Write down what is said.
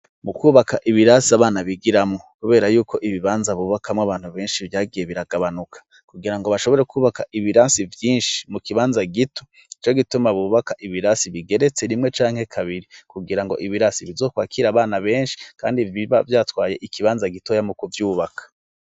Mu kwubaka ibirasi abana bigiramwo, kubera yuko ibibanza bubakamwo abantu benshi vyagiye biragabanuka kugira ngo bashobore kwubaka ibirasi vyinshi mu kibanza gito ico gituma bubaka ibirasi bigeretse rimwe canke kabiri kugira ngo ibirasi bizokwakira abana benshi, kandi iba vyatwaye ikibanza gitoya mu kuvyubaka.